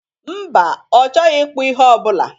Mba, ọ chọghị ikpụ ihe ọbụla